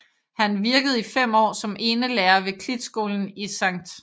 Han virkede i fem år som enelærer ved Klitskolen i Skt